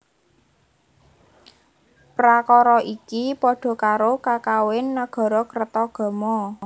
Prakara iki padha karo kakawin Nagarakretagama